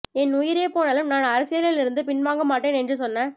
என் உயிரே போனாலும் நான் அரசியலில் இருந்து பின் வாங்கமாட்டேன் என்று சொன்ன